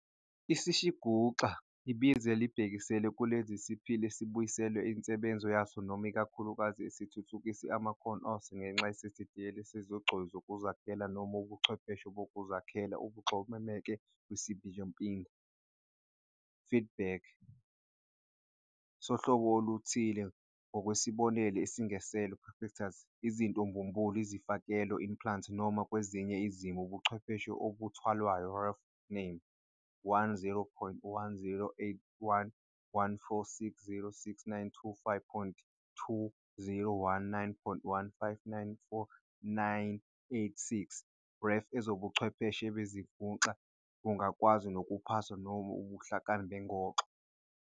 "Isishinguxa" ibizo elibhekisela kuleso siphili esibuyiselwe insebenzo yaso noma ikakhulukazi, esithuthukise amakhono aso ngenxa yendidiyelo yezigcoyi zokuzakhela noma ubuchwepheshe bokuzakhela ubuxhomeke kwisibikemphinda, "feedback", sohlobo oluthile, ngokwesibonelo, isengeselo, "prostheses", izitho mbumbulu, izifakelelo, "implants", noma, kwezinye izimo, ubuchwepheshe obumbathwayo ref name 10.108114606925.2019.1594986 ref, Ezobuchwepheshe bezishinguxa bungakwazi nokuphasa ubuhlakani bexongo.